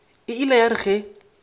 e ile ya re ge